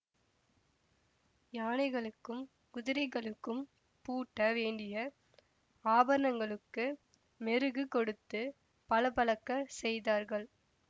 யானைகளுக்கும் குதிரைகளுக்கும் பூட்ட வேண்டிய ஆபரணங்களுக்கு மெருகு கொடுத்து பளபளக்கச் செய்தார்கள்